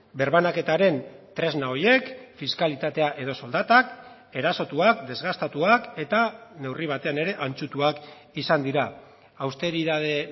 birbanaketaren tresna horiek fiskalitatea edo soldatak erasotuak desgastatuak eta neurri batean ere antzutuak izan dira austeritate